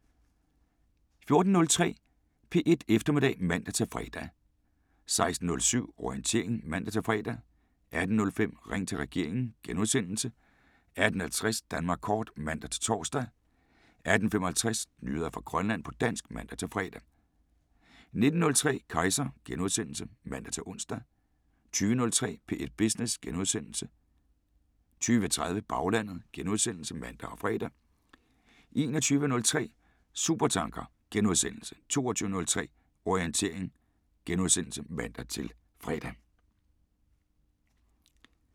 14:03: P1 Eftermiddag (man-fre) 16:07: Orientering (man-fre) 18:05: Ring til regeringen * 18:50: Danmark kort (man-tor) 18:55: Nyheder fra Grønland på dansk (man-fre) 19:03: Kejser *(man-ons) 20:03: P1 Business * 20:30: Baglandet *(man og fre) 21:03: Supertanker * 22:03: Orientering *(man-fre)